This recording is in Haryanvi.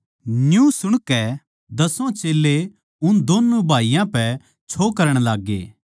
न्यू सुणकै दसो चेल्लें उन दोन्नु भाईयाँ पै छो करण लाग्गे